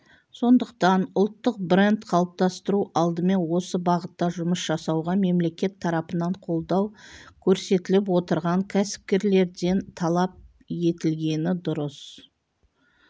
сондықтан ұлттық бренд қалыптастыру алдымен осы бағытта жұмыс жасауға мемлекет тарапынан қолдау көрсетіліп отырған кәсіпкерлерден талап етілгені дұрыс